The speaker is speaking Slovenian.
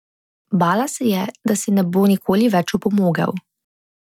Bala se je, da si ne bo nikoli več opomogel.